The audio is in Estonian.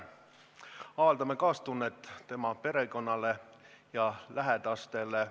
Avaldame kaastunnet tema perekonnale ja lähedastele.